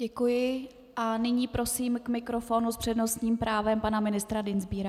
Děkuji a nyní prosím k mikrofonu s přednostním právem pana ministra Dienstbiera.